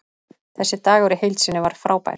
Þessi dagur í heild sinni var frábær.